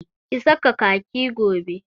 Ki saka kaki gobe!